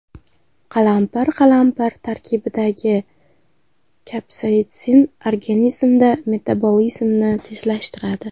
Qalampir Qalampir tarkibidagi kapsaitsin organizmda metabolizmni tezlashtiradi.